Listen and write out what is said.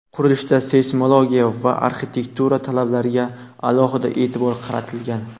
Qurilishda seysmologiya va arxitektura talablariga alohida e’tibor qaratilgan.